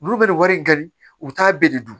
Olu bɛ nin wari in ka di u t'a bɛɛ de dun